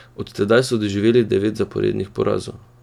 Od tedaj so doživeli devet zaporednih porazov.